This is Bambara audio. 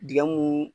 Dingɛ mun